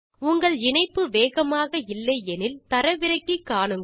உங்கள் இணைப்பு வேகமாக இல்லை எனில் அதை தரவிறக்கி காணுங்கள்